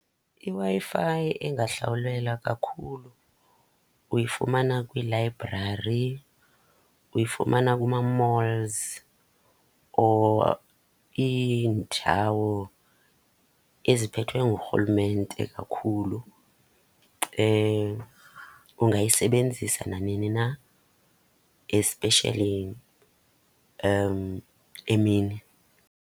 IWi-Fi engahlawulelwa kakhulu uyifumana kwiilayibrari, uyifumana kuma-malls or iindawo eziphethwe ngurhulumente kakhulu. Ungayisebenzisa nanini na, especially emini.